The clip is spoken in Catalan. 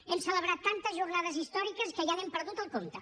hem celebrat tantes jornades històriques que ja n’hem perdut el compte